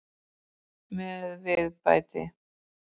Með viðbæti.